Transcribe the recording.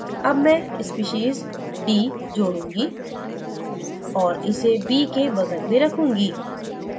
add मैं species d जोड़ूँगी और इसे b के बगल में रखूंगी